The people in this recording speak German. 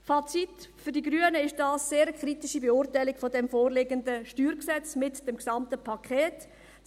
Fazit: Für die Grünen fällt die Beurteilung dieses vorliegenden StG mit dem gesamten Paket sehr kritisch aus.